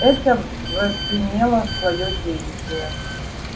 это возымело своё действие